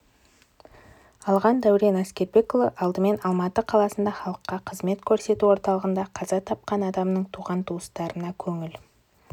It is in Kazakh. алған дәурен әскербекұлы алдымен алматы қаласында халыққа қызмет көрсету орталығында қаза тапқан адамның туған-туыстарына көңіл